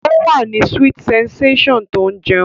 Ó wà ní sweet sensation tó ń jẹun